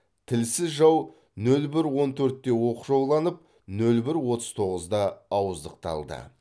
тілсіз жау нөл бір он төртте оқшауланып нөл бір оттыз тоғызда ауыздықталды